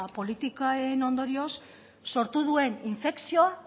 politiken ondorioz sortu duen infekzioa